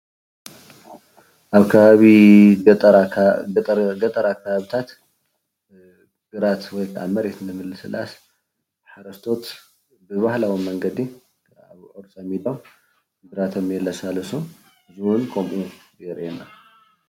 ኣብ ከባቢ ገጠር ኣካባብታት ግራት ወይ መሬት የለሳልሱ ሓረስቶት እዙይ ብባህላዊ መንገድታት ግራቶም የለሳልሱ እውን የርእየና።